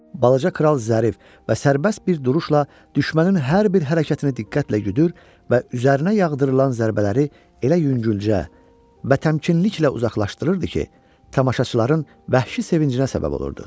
Balaca kral zərif və sərbəst bir duruşla düşmənin hər bir hərəkətini diqqətlə güdür və üzərinə yağdırılan zərbələri elə yüngülcə və təmkinliklə uzaqlaşdırırdı ki, tamaşaçıların vəhşi sevincinə səbəb olurdu.